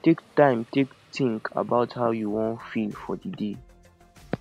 take time take think about how you wan feel for di day